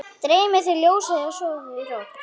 Dreymi þig ljósið, sofðu rótt